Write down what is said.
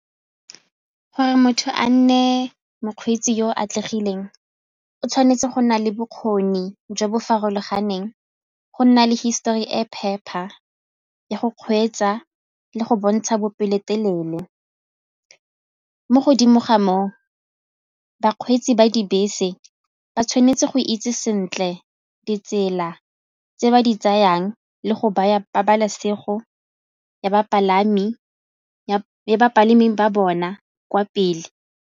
Gore motho a nne mokgweetsi yo o atlegileng, o tshwanetse go nna le bokgoni jo bo farologaneng go nna le histori e phepa ya go kgweetsa le go bontsha bopelotelele mo godimo ga moo bakgweetsi ba dibese ba tshwanetse go itse sentle ditsela tse ba di tsayang le go baya pabalesego ya bapalami ba bona kwa pele.